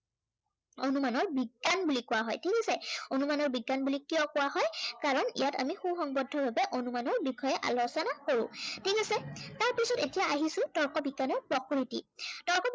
অনুমানৰ বিজ্ঞান বুলি কোৱা হয়। ঠিক আছে, অনুমানৰ বিজ্ঞান বুলি কিয় কোৱা হয়, কাৰন ইয়াত আমি সু সঙ্গৱদ্ধভাৱে অনুমানৰ বিষয়ে আলোচনা কৰো। ঠিক আছে। তাৰ পিছত এতিয়া আহিছো তৰ্ক বিজ্ঞানৰ প্ৰকৃতি,